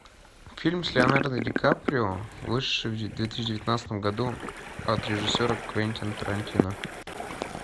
фильм с леонардо ди каприо вышедший в две тысячи девятнадцатом году от режиссера квентина тарантино